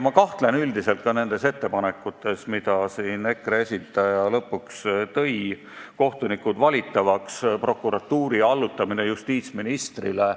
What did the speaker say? Ma kahtlen ka nendes ettepanekutes, mida EKRE esindaja lõpuks tegi, et kohtunikud valitavaks ja prokuratuur allutada justiitsministrile.